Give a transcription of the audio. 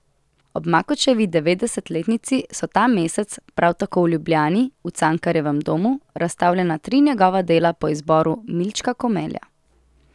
Ob Makučevi devetdesetletnici so ta mesec, prav tako v Ljubljani, v Cankarjevem domu, razstavljena tri njegova dela po izboru Milčka Komelja.